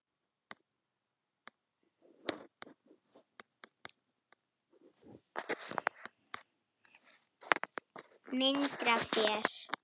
Myndir af þér.